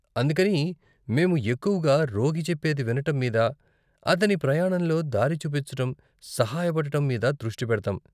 అందుకని మేము ఎక్కువగా రోగి చెప్పేది వినటం మీద, అతని ప్రయాణంలో దారి చూపించటం, సహాయ పడటం మీద దృష్టి పెడతాం.